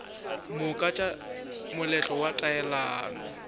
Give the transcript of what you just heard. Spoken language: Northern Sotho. moka tša moletlo wa taelano